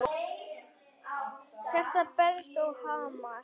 Hjartað berst og hamast.